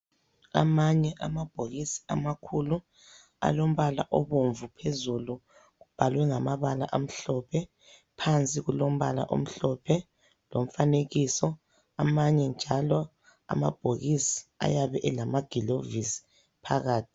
Amanye amabhokisi amakhulu alombala obomvu phezulu, ubhalwe ngamabala amhlophe, phansi kulombala omhlophe lomfanekiso amanye njalo amabhokisi ayabe elamagilovisi phakathi.